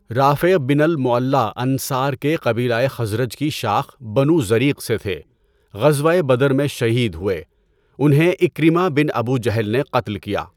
رافع بن الْمُعَلّىٰ انصار کے قبیلۂ خزرج کی شاخ بنو زریق سے تھے۔ غزوۂ بدر میں شہید ہوئے۔ انہیں عِكرِمہ بن ابو جہل نے قتل کیا۔